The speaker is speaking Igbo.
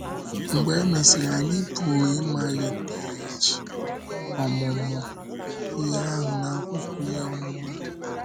Mgbe e mesịrị, anyị pụrụ ịmaliteghachi ọmụmụ ihe ahụ n’akwụkwọ Ihe Ọ́mụma.